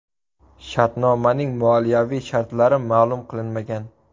Shartnomaning moliyaviy shartlari ma’lum qilinmagan.